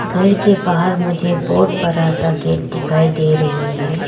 घर के बाहर मुझे बहुत बड़ा सा गेट दिखाई दे रही है।